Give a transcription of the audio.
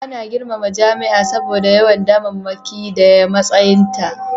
Ana girmama jami'a saboda yawan damammaki da matsayinta